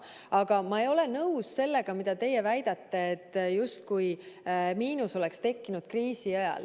Aga ma ei ole nõus sellega, mida teie väidate, et justkui miinus oleks tekkinud kriisi ajal.